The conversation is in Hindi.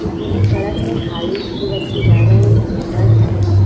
ये पूरी सड़क है खाली दो व्यक्ति जा रहे है बस हैं।